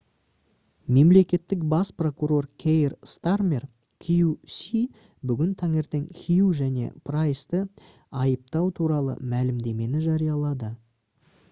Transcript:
мемлекеттік бас прокур кейр стармер qc бүгін таңертең хью және прайсты айыптау туралы мәлімдемені жариялады